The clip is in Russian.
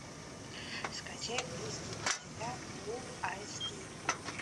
скачай близкие друзья фул айч ди